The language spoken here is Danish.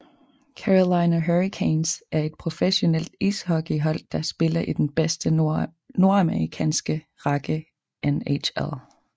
Carolina Hurricanes er et professionelt ishockeyhold der spiller i den bedste nordamerikanske række NHL